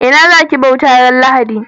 Ina za ki bauta ran lahadi?